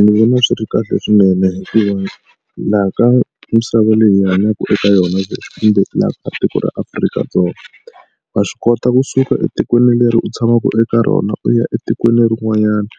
Ndzi vona swi ri kahle swinene hikuva laha ka misava leyi hi hanyaka eka yona leswi kumbe laha ka tiko ra Afrika-Dzonga wa swi kota kusuka etikweni leri u tshamaka eka rona u ya etikweni rin'wanyana